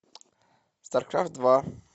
старкрафт два